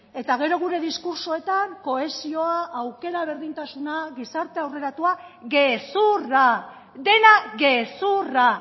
eta gero gure diskurtsoetan kohesioa aukera berdintasuna gizarte aurreratua gezurra dena gezurra